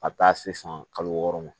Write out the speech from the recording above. A bɛ taa se san kalo wɔɔrɔ ma